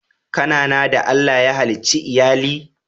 Ka na na da Allah ya halice Iyalli??